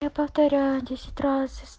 я повторяю десять раз